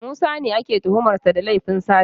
Musa ne ake tuhumar sa da laifin sata